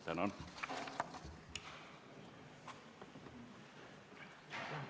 Tänan!